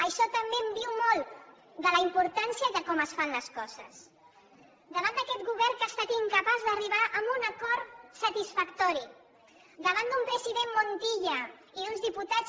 això també diu molt de la importància i de com es fan les coses davant d’aquest govern que ha estat incapaç d’arribar a un acord satisfactori davant d’un president montilla i d’uns diputats